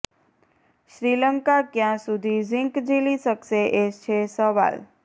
શ્રીલંકા ક્યાં સુધી ઝીંક ઝીલી શકશે એ સવાલ છે